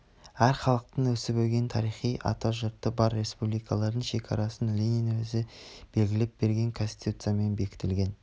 әр халықтың өсіп-өнген тарихи ата жұрты бар республикалардың шекарасын ленин өзі белгілеп берген конституциямен бекітілген